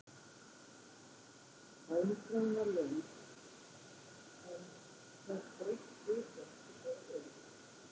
Bænaskráin var löng en þarf breytt viðhorf til fóstureyðinga?